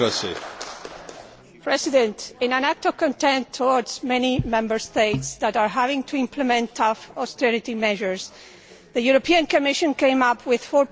Mr President, in an act of contempt towards many Member States that are having to implement tough austerity measures, the European Commission came up with a